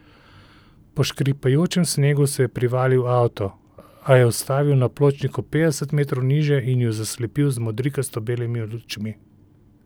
Po škripajočem snegu se je privalil avto, a je ustavil na pločniku petdeset metrov nižje in ju zaslepil z modrikasto belimi lučmi.